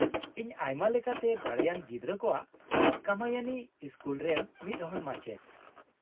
ᱤᱧ ᱟᱭᱢᱟ ᱞᱮᱠᱟᱛᱮ ᱫᱟᱲᱮᱭᱟᱱ ᱜᱤᱫᱽᱨᱟᱹ ᱠᱚᱣᱟᱜ ᱠᱟᱢᱟᱭᱤᱱᱤ ᱤᱥᱠᱩᱞ ᱨᱮᱱ ᱢᱤᱫᱦᱚᱲ ᱢᱟᱪᱮᱫ ᱾